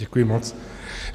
Děkuji moc.